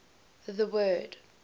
the word